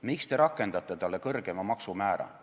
Miks te rakendate tema suhtes kõrgemat maksumäära?